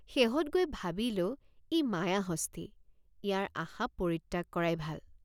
শেহত গৈ ভাবিলোঁ ই মায়াহস্তী ইয়াৰ আশা পৰিত্যাগ কৰাই ভাল।